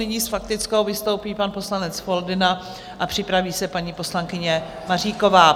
Nyní s faktickou vystoupí pan poslanec Foldyna a připraví se paní poslankyně Maříková.